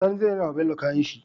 Sani zai rina wa bello kayan shi